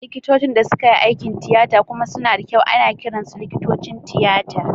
Likitocin da suka yi aikin tiyata kuma suna da kyau ana kiransu likitocin tiyata.